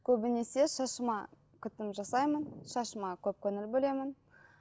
көбінесе шашыма күтім жасаймын шашыма көп көңіл бөлемін